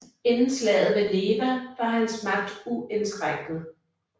Inden slaget ved Neva var hans magt uindskrænket